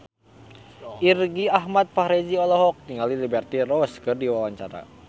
Irgi Ahmad Fahrezi olohok ningali Liberty Ross keur diwawancara